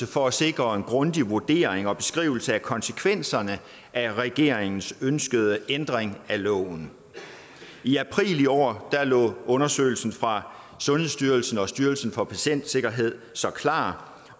for at sikre en grundig vurdering og beskrivelse af konsekvenserne af regeringens ønskede ændring af loven i april i år lå undersøgelsen fra sundhedsstyrelsen og styrelsen for patientsikkerhed så klar